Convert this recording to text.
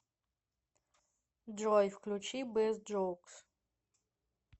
джой включи бэст джоукс